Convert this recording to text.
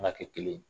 An ka kɛ kelen ye